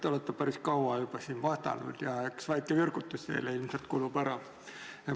Te olete siin päris kaua juba vastanud ja väike virgutus kulub teile ilmselt ära.